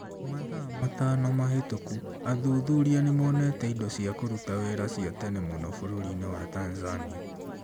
Mathaa matano mahĩtũku athuthuria nĩ monete indo cia kũruta wĩra cia tene mũno bũrũri-inĩ wa Tanzania.